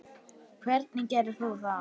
Hvernig gerir þú það?